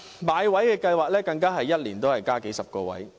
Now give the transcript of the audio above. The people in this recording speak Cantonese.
買位計劃每年也只是增加數十個位。